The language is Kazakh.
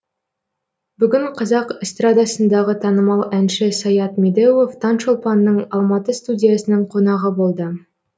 бүгін қазақ эстрадасындағы танымал әнші саят медеуов таңшолпанның алматы студиясының қонағы болды